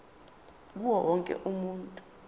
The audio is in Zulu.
kuwo wonke umuntu